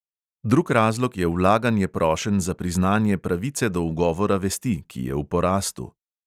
Drug razlog je vlaganje prošenj za priznanje pravice do ugovora vesti, ki je v porastu.